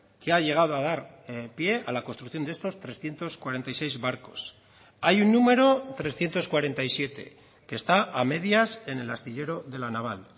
que ha llegado a dar pie a la construcción de estos trescientos cuarenta y seis barcos hay un número trescientos cuarenta y siete que está a medias en el astillero de la naval